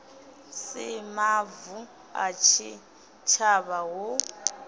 si mavu a tshitshavha hu